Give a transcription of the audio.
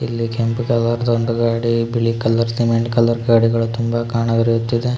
ಇಲ್ಲಿ ಕೆಂಪು ಕಲರ್ ದು ಒಂದು ಗಾಡಿ ಬಿಳಿ ಕಲರ್ ಸಿಮೆಂಟ್ ಕಲರ್ ಗಾಡಿಗಳು ಕಾಣ ಬರುತ್ತಿದೆ.